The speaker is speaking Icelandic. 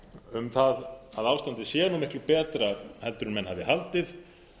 um það að ástandið sé miklu betra en menn hafi haldið